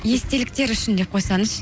естеліктер үшін деп қойсаңызшы